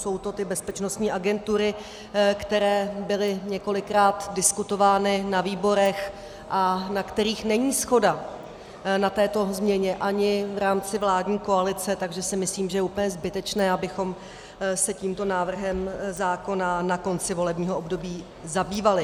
Jsou to ty bezpečnostní agentury, které byly několikrát diskutovány na výborech a na kterých není shoda na této změně ani v rámci vládní koalice, takže si myslím, že je úplně zbytečné, abychom se tímto návrhem zákona na konci volebního období zabývali.